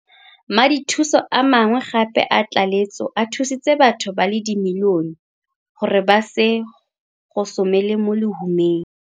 Madithuso a mangwe gape a tlaleletso a thusitse batho ba le dimilionemilione gore ba se gosomele mo lehumeng.